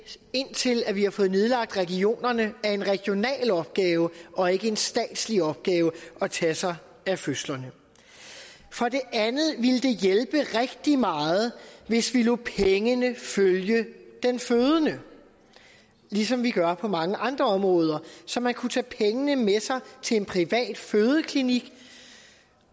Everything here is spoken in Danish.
indtil vi har fået nedlagt regionerne er en regional opgave og ikke en statslig opgave at tage sig af fødslerne for det andet ville det hjælpe rigtig meget hvis vi lod pengene følge den fødende ligesom vi gør på mange andre områder så man kunne tage pengene med sig til en privat fødeklinik